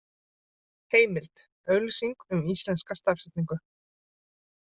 Heimild: Auglýsing um íslenska stafsetningu.